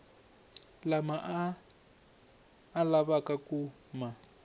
lama a lavaka ku ma